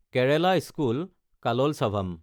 Kerala school Kalolsavam